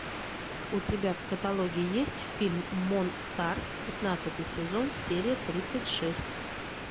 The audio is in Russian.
у тебя в каталоге есть фильм монстар пятнадцатый сезон серия тридцать шесть